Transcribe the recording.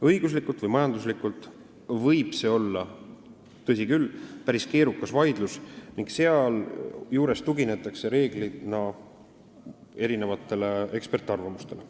Õiguslikult või majanduslikult võib see olla, tõsi küll, päris keerukas vaidlus ning sealjuures tuginetakse reeglina erinevatele eksperdiarvamustele.